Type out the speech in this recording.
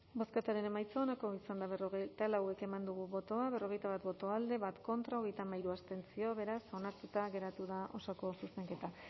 bozketaren emaitza onako izan da berrogeita lau eman dugu bozka berrogeita bat boto alde bat contra hogeita hamairu abstentzio beraz onartuta geratu da osoko zuzenketa